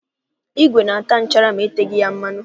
Ígwè na-ata nchara ma eteghị ya mmanụ.